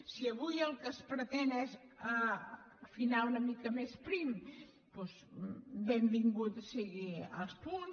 si avui el que es pretén és filar una mica més prim doncs benvingut siguin els punts